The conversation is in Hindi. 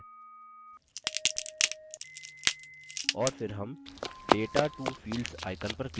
और फिर हम data to fields icon पर click करेंगे